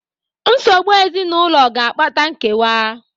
Nsogbu ezinụlọ ga-akpata nkewa.